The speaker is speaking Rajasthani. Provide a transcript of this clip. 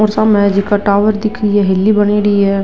और सामने जेका टावर दिख रही है हेली बनेड़ी है।